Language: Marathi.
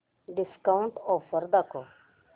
डिस्काऊंट ऑफर दाखव